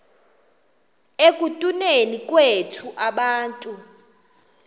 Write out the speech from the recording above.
ekutuneni kwethu abantu